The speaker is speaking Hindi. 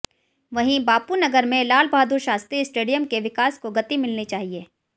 वहीं बापूनगर में लालबहादुर शास्त्री स्टेडियम के विकास को गति मिलनी चाहिए